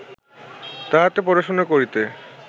তাহাতে পড়াশুনা করিতে